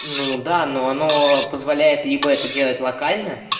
ну да но оно позволяет либо это делать локально